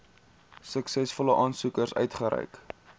suksesvolle aansoekers uitgereik